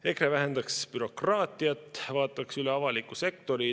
EKRE vähendaks bürokraatiat, vaataks üle avaliku sektori.